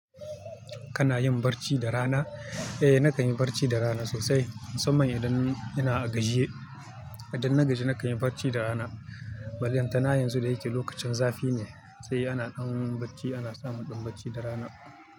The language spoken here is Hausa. Kana yin barci da rana? Eh na kan yi barci da rana sosai. Musamman idan ina a gajiye. Idan na gaji na kan yi barci da rana. Balantana yanzu da yake lokacin zafi ne sai ana ɗan barci ana samun ɗan barci da rana.